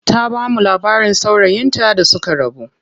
Ta bamu labarin saurayin ta da suka rabu.